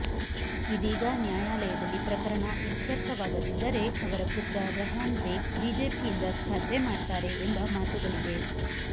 ಇದೀಗ ನ್ಯಾಯಾಲಯದಲ್ಲಿ ಪ್ರಕರಣ ಇತ್ಯರ್ಥವಾಗದಿದ್ದರೆ ಅವರ ಪುತ್ರ ರೆಹಾನ್ ಬೇಗ್ ಬಿಜೆಪಿಯಿಂದ ಸ್ಪರ್ಧೆ ಮಾಡ್ತಾರೆ ಎಂಬ ಮಾತುಗಳಿವೆ